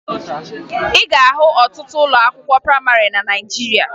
Ị ga-ahụ ọtụtụ ụlọ akwụkwọ prayịmarị na Naịjirịa